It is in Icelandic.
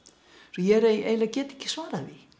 ég eiginlega get ekki svarað því